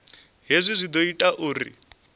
hezwi zwi ḓo ita uri